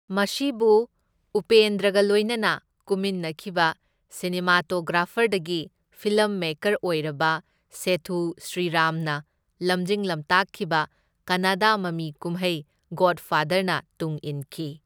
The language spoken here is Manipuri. ꯃꯁꯤꯕꯨ ꯎꯄꯦꯟꯗ꯭ꯔꯒ ꯂꯣꯏꯅꯅ ꯀꯨꯝꯃꯤꯟꯅꯈꯤꯕ ꯁꯤꯅꯦꯃꯥꯇꯣꯒ꯭ꯔꯥꯐꯔꯗꯒꯤ ꯐꯤꯂꯝ ꯃꯦꯀꯔ ꯑꯣꯏꯔꯕ ꯁꯦꯊꯨ ꯁ꯭ꯔꯤꯔꯥꯝꯅ ꯂꯝꯖꯤꯡ ꯂꯝꯇꯥꯛꯈꯤꯕ ꯀꯟꯅꯥꯗꯥ ꯃꯃꯤ ꯀꯨꯝꯍꯩ ꯒꯣꯗꯐꯥꯗꯔꯅ ꯇꯨꯡꯏꯟꯈꯤ꯫